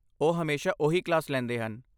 ਉਹ ਹਮੇਸ਼ਾ ਓਹੀ ਕਲਾਸ ਲੈਂਦੇ ਹਨ।